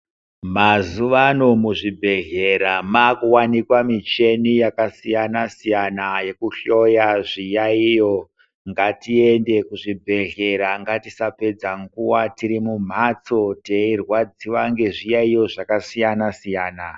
Mazuva ano muzvibhedhlera makuwanikwa mishini yakasiyana siyana yekuhloya zviyayiyo, ngatiende kuzvibhedhlera ngatisapedza nguva tiri mumhatso teirwadziwa ngezviyayiyo zvakasiyana siyana.